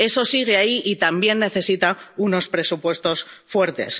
Eso sigue ahí y también necesita unos presupuestos fuertes.